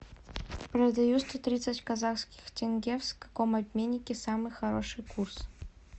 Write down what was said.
продаю сто тридцать казахских тенге в каком обменнике самый хороший курс